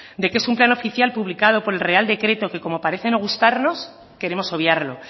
de que es un plan oficial publicado por el real decreto que como parece no gustarnos queremos obviarlo